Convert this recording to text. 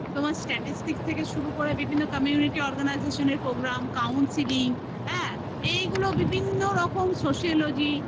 তোমার statistic থেকে শুরু করে বিভিন্ন community organisation এর programme consiling হ্যা? এইগুলো বিভিন্ন রকম sociology